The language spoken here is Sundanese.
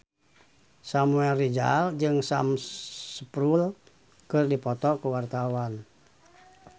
Samuel Rizal jeung Sam Spruell keur dipoto ku wartawan